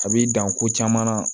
A b'i dan ko caman na